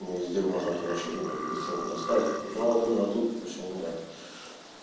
и везде можно хорошо ну так быстренько достать но вот именно тут почему-то